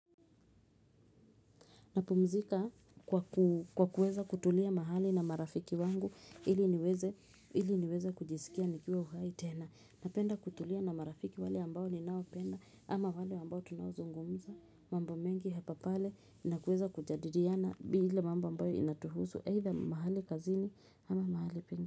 Napumzika kwa kueza kutulia mahali na marafiki wangu ili niweze kujisikia nikiwa uhai tena. Napenda kutulia na marafiki wale ambao ninaopenda ama wale ambao tunawo zungumza. Mambo mengi hapa pale na kueza kujadiliana bila mambo ambayo inatuhuzu. Haitha mahali kazini ama mahali penge.